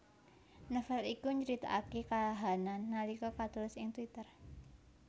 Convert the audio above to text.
Novel iku nyritakaké kahanan nalika katulis ing twitter